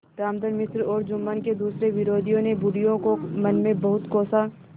रामधन मिश्र और जुम्मन के दूसरे विरोधियों ने बुढ़िया को मन में बहुत कोसा